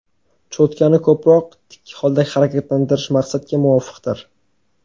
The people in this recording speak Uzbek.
Cho‘tkani ko‘proq tik holda harakatlantirish maqsadga muvofiqdir.